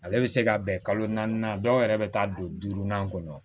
Ale bɛ se ka bɛn kalo naani na dɔw yɛrɛ bɛ taa don duurunan kɔnɔ